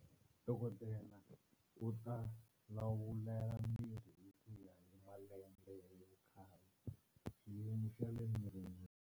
Dokodela u ta lawulela mirhi hi ku ya hi malembe hi vukhale, xiyimo xa le mirini.